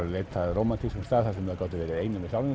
að leita að rómantískum stað þar sem þeir gátu verið einir með sjálfum